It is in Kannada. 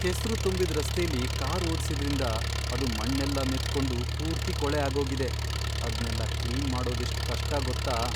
ಕೆಸ್ರು ತುಂಬಿದ್ ರಸ್ತೆಲಿ ಕಾರ್ ಓಡ್ಸಿದ್ರಿಂದ ಅದು ಮಣ್ಣೆಲ್ಲ ಮೆತ್ಕೊಂಡು ಪೂರ್ತಿ ಕೊಳೆ ಆಗೋಗಿದೆ. ಅದ್ನೆಲ್ಲ ಕ್ಲೀನ್ ಮಾಡೋದೆಷ್ಟ್ ಕಷ್ಟ ಗೊತ್ತಾ?